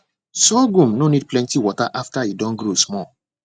sorghum no need plenty water after e don grow small